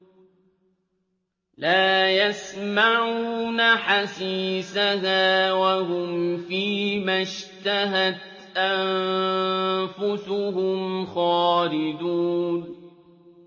لَا يَسْمَعُونَ حَسِيسَهَا ۖ وَهُمْ فِي مَا اشْتَهَتْ أَنفُسُهُمْ خَالِدُونَ